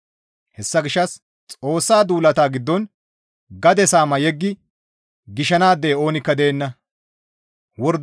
Hessa gishshas Xoossa duulata giddon gade saama yeggi gishanaadey oonikka deenna.